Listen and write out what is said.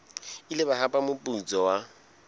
ile ba hapa moputso wa